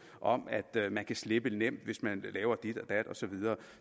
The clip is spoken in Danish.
om at man kan slippe lidt nemt hvis man laver dit og dat og så videre